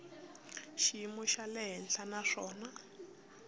xiyimo xa le hansi naswona